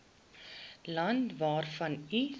land waarvan u